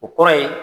O kɔrɔ ye